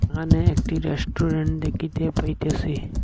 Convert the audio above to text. এখানে একটি রেস্টুরেন্ট দেকিতে পাইতেসি।